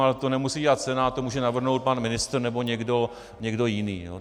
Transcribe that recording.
Ale to nemusí dělat Senát, to může navrhnout pan ministr nebo někdo jiný.